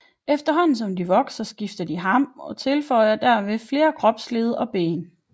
Efterhånden som de vokser skifter de ham og tilføjer derved flere kropsled og ben